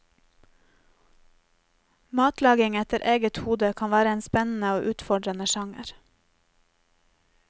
Matlaging etter eget hode kan være en spennende og utfordrende sjanger.